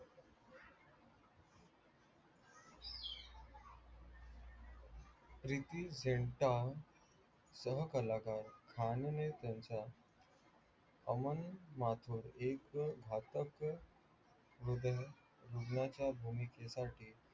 प्रिती झिंटा सह कलाकार आणि खानो मे त्याच्या अमन माथुर एक घातक भुमेकेसाठी